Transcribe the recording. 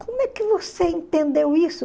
Como é que você entendeu isso?